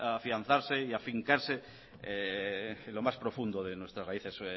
afianzarse y afincarse en lo más profundo de nuestras raíces